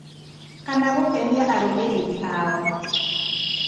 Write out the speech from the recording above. kana gũkenia arũmĩrĩri ao